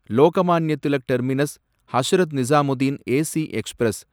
Lokmanya Tilak terminus Hazrat Nizamuddin AC express